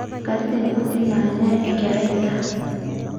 katitin kuti naanya enkerai endaa